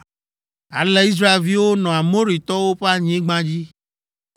Ale Israelviwo nɔ Amoritɔwo ƒe anyigba dzi.